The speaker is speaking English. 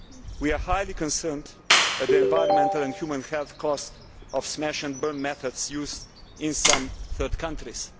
We are highly concerned at the environmental and human health cost of smash and burn methods used in some third countries.